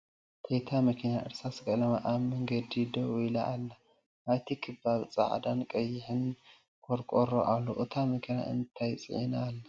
ቴይታ ምኪና እርሳስ ቀልማ ኣብ ምንግዲ ድዉ ኢላ ኣላ ኣብቲ ክባቢ ፀዓዳን ቀይሕን ቆርቆሮ ኣሎ ኣታ ምኪና እንታይ ፅዒና ኣላ ?